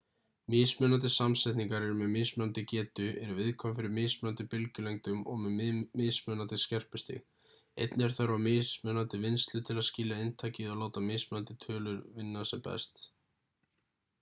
mismunandi samsetningar eru með mismunandi getu eru viðkvæm fyrir mismunandi bylgjulengdum og með mismunandi skerpustig einnig er þörf á mismunandi vinnslu til að skilja inntakið og láta mismunandi tölurvinna sem best